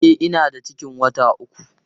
E, ina da ciki wata uku.